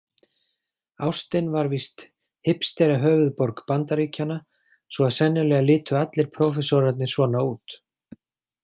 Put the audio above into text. Austin var víst hipsterahöfuðborg Bandaríkjanna svo að sennilega litu allir prófessorarnir svona út.